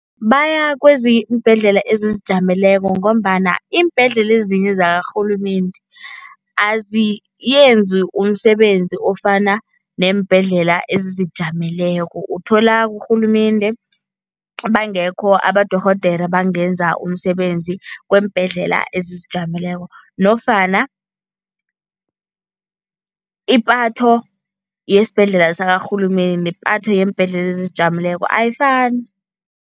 Baya kwezimbhedlela ezizijameleko ngombana iimbhedlela ezinye zakarhulumeni aziyenzi umsebenzi ofana neembhedlela ezizijameleko. Uthola kurhulumende bangekho abadorhodere bangenza umsebenzi kweembhedlela ezizijameleko nofana ipatho yesibhedlela sakarhulumende, ipatho yeembhedlela ezizijameleko ayifani.